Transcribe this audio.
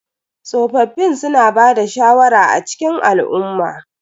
Tsofaffin suna bada shawara a cikin al'umma.